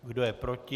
Kdo je proti?